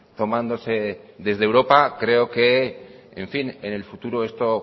tomándose desde europa creo que en fin en el futuro esto